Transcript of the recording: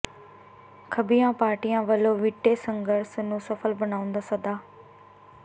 ਖੱਬੀਆਂ ਪਾਰਟੀਆਂ ਵੱਲੋਂ ਵਿੱਢੇ ਸੰਘਰਸ਼ ਨੂੰ ਸਫ਼ਲ ਬਣਾਉਣ ਦਾ ਸੱਦਾ